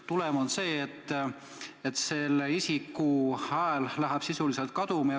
Tulem on see, et selle isiku hääl läheb sisuliselt kaduma.